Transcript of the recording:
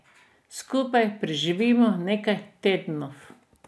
Skupaj preživimo nekaj tednov.